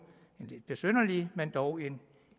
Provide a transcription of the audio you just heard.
besynderlig men dog en